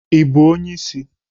Ị bụ onye isi?